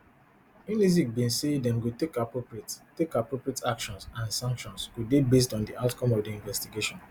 unizik bin say dem go take appropriate take appropriate actions and sanctions go dey based on di outcome of di investigation